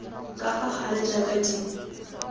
ka fa gare jaaka di